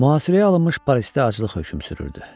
Mühasirəyə alınmış Parisdə aclıq hökm sürürdü.